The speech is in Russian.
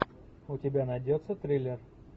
у тебя найдется триллер